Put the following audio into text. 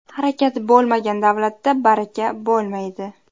Harakat bo‘lmagan davlatda baraka bo‘lmaydi.